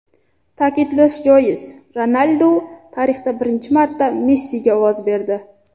Ta’kidlash joiz, Ronaldu tarixda birinchi marta Messiga ovoz berdi.